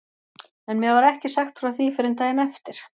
En mér var ekki sagt frá því fyrr en daginn eftir.